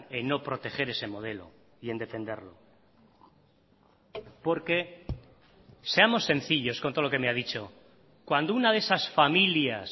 en no proteger ese modelo y en defenderlo porque seamos sencillos con todo lo que me ha dicho cuando una de esas familias